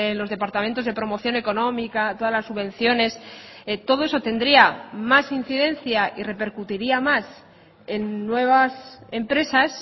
los departamentos de promoción económica todas las subvenciones todo eso tendría más incidencia y repercutiría más en nuevas empresas